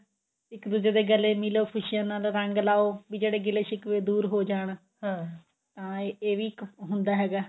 ਇੱਕ ਦੁੱਜੇ ਦੇ ਗਲੇ ਮਿਲੋ ਖੁਸ਼ੀਆਂ ਨਾਲ ਰੰਗ ਲਾਓ ਵੀ ਜਿਹੜੇ ਗਿਲੇ ਸ਼ਿਖਵੇਂ ਦੂਰ ਹੋ ਜਾਣ ਅਹ ਇਹ ਵੀ ਇੱਕ ਹੁੰਦਾ ਹੈਗਾ